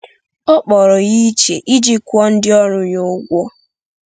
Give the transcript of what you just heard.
Ọ kpọrọ ya iche iji kwụọ ndị ọrụ ya ụgwọ.